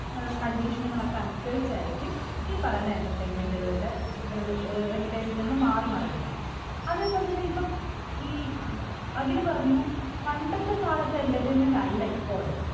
ഏർ condition കളൊക്കെ അനുസരിച്ചായിരിക്കും ഈ പറയുന്ന entertainment കളുടെ ഏർ ഏർ entertainment കൾ മാറി മറിയുക അതെ പോലെ തന്നെ ഇപ്പൊ ഈ അഖില് പറഞ്ഞു പണ്ടത്തെ കാലത്തെ entertainment അല്ല ഇപ്പൊൾ